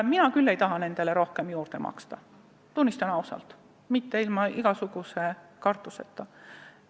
Mina küll ei taha nendele rohkem juurde maksta, tunnistan seda ausalt ilma igasuguse kartuseta.